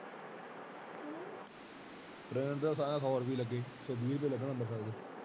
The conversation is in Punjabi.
train ਤੇ ਸਾਰਾ ਸੋ ਰੁਪਇਆ ਲੱਗੇ ਇਕ ਸੋ ਵੀਰ ਪਾਏ ਲੱਗੇ ਸਨ ਅੰਬਰਸਰ ਦੇ।